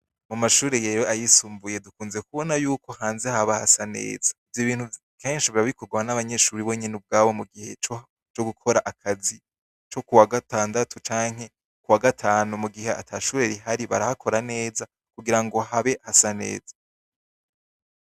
Mu mashure rero ayisumbuye dukunze kubona yuko hanze haba hasa neza. Ivyo bintu akenshi biba bivugwa n'abanyeshure ubwabo mu gihe co gukora akazi co kuwa gatandatu canke kuwa gatanu mu gihe ata shure rihari, barahakora neza kugira habe hasa neza.